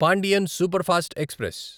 Pandian superfast express